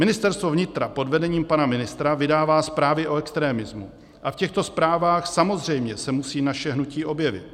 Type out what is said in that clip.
Ministerstvo vnitra pod vedením pana ministra vydává zprávy o extremismu a v těchto zprávách samozřejmě se musí naše hnutí objevit.